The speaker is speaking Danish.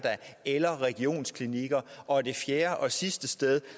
eller regionsklinikker og det fjerde og sidste sted